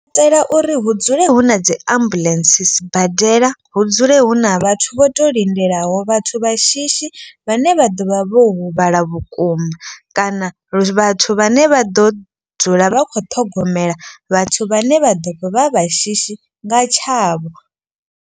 U itela uri hu dzule hu na dzi ambuḽentse sibadela hu dzule hu na vhathu vho to lindelaho vhathu vha shishi. Vhane vha ḓo vha vho huvhala vhukuma kana vhathu vhane vha ḓo dzula vha kho ṱhogomela vhathu. Vhane vha ḓo vha vha shishi nga tshavho.